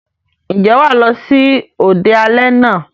Ǹjẹ́ wà á lọ sí òde alẹ́ náà?